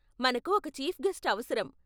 మనకు ఒక chief guest అవసరం.